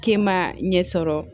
K'e ma ɲɛ sɔrɔ